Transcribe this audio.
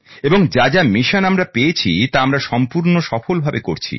এবং যা যা মিশন আমরা পেয়েছি তা আমরা সফল ভাবে সম্পূর্ণ করছি